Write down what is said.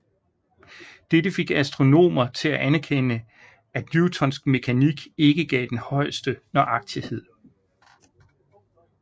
Dette fik astronomer til at anerkende at newtonsk mekanik ikke gav den højeste nøjagtighed